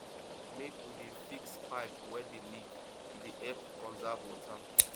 make we dey fix pipe wey dey leak e dey help conserve water